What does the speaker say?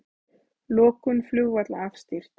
Lokun flugvalla afstýrt